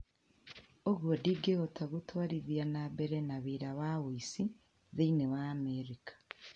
ũgwo ndĩngĩhota Gũtwarithia na mbere na Wĩra wa ũici thĩinĩ wa Amerika